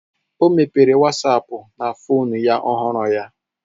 Ọ mepere wasapu na fonu ya ọhụrụ ya